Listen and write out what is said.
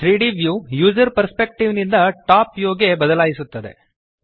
3ದ್ view user perspective ನಿಂದ top view ಗೆ ಬದಲಾಯಿಸುತ್ತದೆ